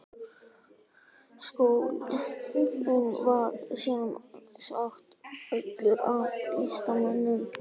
Skólinn var sem sagt fullur af listamönnum.